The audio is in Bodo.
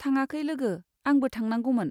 थाङाखै लोगो, आंबो थांनांगौमोन।